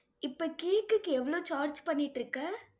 இப்ப cake க்கு எவ்வளவு charge பண்ணிட்டிருக்க?